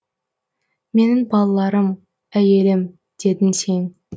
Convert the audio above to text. менің балаларым әйелім дедің сен